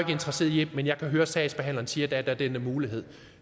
interesseret i det men jeg kan høre sagsbehandleren siger at der er den her mulighed